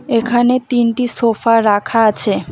এখানে তিনটি সোফা রাখা আছে।